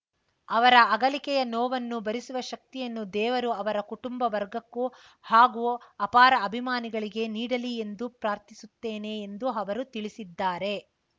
ಅವರ ಅಗಲಿಕೆಯ ನೋವನ್ನು ಭರಿಸುವ ಶಕ್ತಿಯನ್ನು ದೇವರು ಅವರ ಕುಟುಂಬ ವರ್ಗಕ್ಕೂ ಹಾಗೂ ಅಪಾರ ಅಭಿಮಾನಿಗಳಿಗೆ ನೀಡಲಿ ಎಂದು ಪ್ರಾರ್ಥಿಸುತ್ತೇನೆ ಎಂದು ಅವರು ತಿಳಿಸಿದ್ದಾರೆ